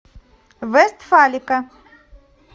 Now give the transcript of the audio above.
вестфалика